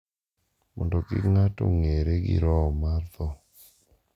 mondo kik ng’ato ong’ere gi roho mar tho.